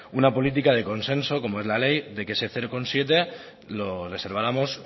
una política de consenso como es la ley de que ese cero coma siete lo reserváramos